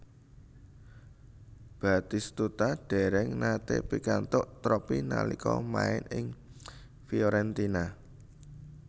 Batistuta dereng nate pikantuk tropi nalika main ing Fiorentina